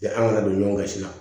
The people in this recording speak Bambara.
an kana don ɲɔgɔn kan sisan